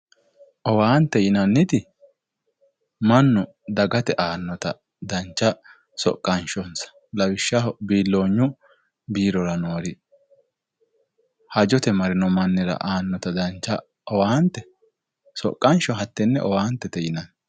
Owaante yinnanniti mannu dagate aanotta dancha soqanishossa lawishshaho biiloonyu biirora noori hajjote marrino mannira aanotta dancha owaante soqansho hatene owaantete yinnanni.